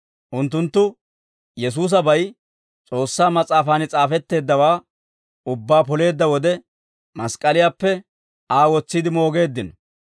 «Unttunttu Yesuusabay S'oossaa Mas'aafan s'aafetteeddawaa ubbaa poleedda wode, mask'k'aliyaappe Aa wotsiide moogeeddino.